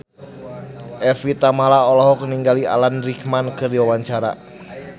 Evie Tamala olohok ningali Alan Rickman keur diwawancara